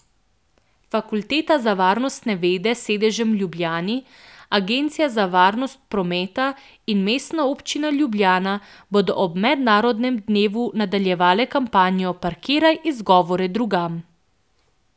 Fakulteta za varnostne vede s sedežem v Ljubljani, Agencija za varnost prometa in Mestna občina Ljubljana bodo ob mednarodnem dnevu nadaljevale kampanjo Parkiraj izgovore drugam!